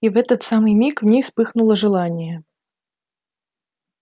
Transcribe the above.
и в этот самый миг в ней вспыхнуло желание